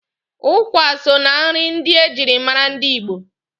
Ụkwa so na nri ndị e jiri mara ndị Igbo.